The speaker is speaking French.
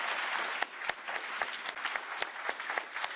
Merci beaucoup, Monsieur le Président, pour vos mots.